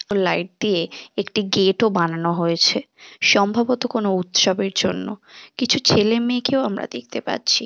ও light দিয়ে একটি গেট-ও বানানো হয়েছে সম্ভবত কোনো উৎসবের জন্য কিছু ছেলেমেয়েকেও আমরা দেখতে পাচ্ছি।